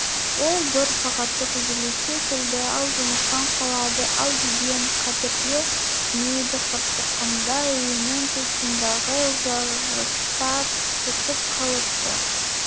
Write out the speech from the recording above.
ол бір сағаттық үзіліске келді-ау жұмыстан қалады-ау деген қаперге кірмейді қырсыққанда үйінің тұсындағы жарықтар өшіп қалыпты